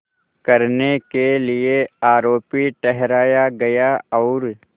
करने के लिए आरोपी ठहराया गया और